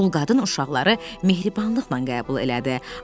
Dul qadın uşaqları mehribanlıqla qəbul elədi.